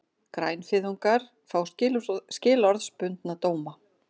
Grænfriðungar fá skilorðsbundna dóma